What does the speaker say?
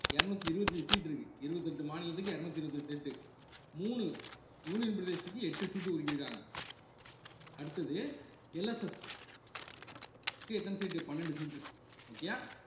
இருநூத்தி இருவத்தஞ்சு seat இருக்கு இருவத்தி எட்டு மாநிலத்துக்கு இருநூத்தி இருவத்தஞ்சு seat உ மூணு union பிரதேசத்துக்கு எட்டு சீட்டு ஒதுக்கி இருக்காங்க அடுத்தது LSS க்கு எத்தன seat பன்னெண்டு seatokay யா